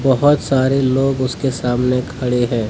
बहुत सारे लोग उसके सामने खड़े है।